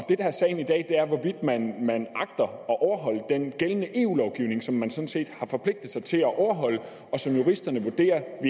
det der er sagen i dag er hvorvidt man man agter at overholde den gældende eu lovgivning som man sådan set har forpligtet sig til at overholde og som juristerne vurderer